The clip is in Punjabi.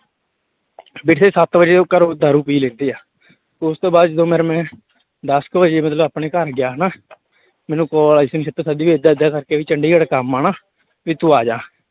ਵੈਸੇ ਸੱਤ ਵਜੇ ਉਹ ਘਰੋਂ ਦਾਰੂ ਪੀ ਲੈਂਦੇ ਆ, ਉਸ ਤੋਂ ਬਾਅਦ ਜਦੋਂ ਫਿਰ ਮੈਂ ਦਸ ਕੁ ਵਜੇ ਜਦੋਂ ਆਪਣੇ ਘਰ ਗਿਆ ਨਾ ਮੈਨੂੰ call ਆਈ ਸੀ ਨਛੱਤਰ ਸਰ ਦੀ ਵੀ ਏਦਾਂ ਏਦਾਂ ਕਰਕੇ ਵੀ ਚੰਡੀਗੜ੍ਹ ਕੰਮ ਆ ਨਾ, ਵੀ ਤੁੰ ਆ ਜਾ।